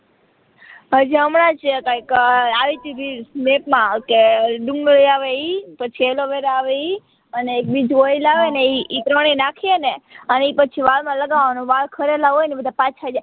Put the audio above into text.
હજી હમણાં જ કૈક આઈ ટી રીલ્સ મેપ માં આવ કે દુન્ગદીયાવ ઈ પાચ એલોવેરા આવે ઈ અને બીજું ઓઈલ આવે ને ઈ ત્રણેય નાખીએ ને અને એ પછી વાળ માં લગાવવાવનો વાળ ખરેલા હોય ને એ બધા પાછા આઈ